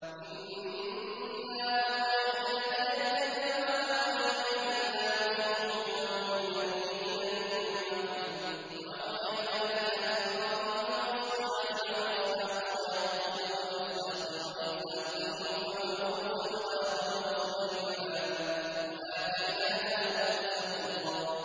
۞ إِنَّا أَوْحَيْنَا إِلَيْكَ كَمَا أَوْحَيْنَا إِلَىٰ نُوحٍ وَالنَّبِيِّينَ مِن بَعْدِهِ ۚ وَأَوْحَيْنَا إِلَىٰ إِبْرَاهِيمَ وَإِسْمَاعِيلَ وَإِسْحَاقَ وَيَعْقُوبَ وَالْأَسْبَاطِ وَعِيسَىٰ وَأَيُّوبَ وَيُونُسَ وَهَارُونَ وَسُلَيْمَانَ ۚ وَآتَيْنَا دَاوُودَ زَبُورًا